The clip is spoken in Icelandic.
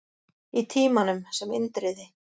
Í Tímanum, sem Indriði